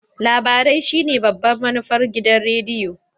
Labarai shine babban manufar gidan rediyo.